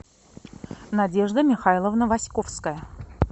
надежда михайловна васьковская